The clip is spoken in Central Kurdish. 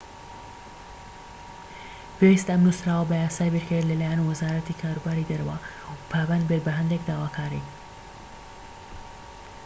پێویستە ئەم نووسراوە بە یاسایی بکرێت لە لایەن وەزارەتی کاروباری دەرەوە و پابەند بێت بە هەندێک داواکاری